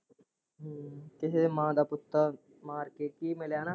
ਕਿਹੇ ਮਾਂ ਦਾ ਪੁੱਤਰ ਮਾਰ ਕੇ ਕੀ ਮਿਲਿਆ ਨਾ।